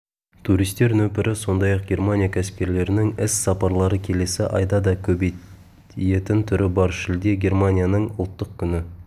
туристер нөпірі сондай-ақ германия кәсіпкерлерінің іс сапарлары келесі айда да көбейетін түрі бар шілде германияның ұлттық күні